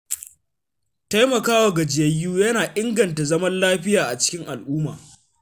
Taimakawa gajiyayyu yana inganta zaman lafiya a cikin al’umma.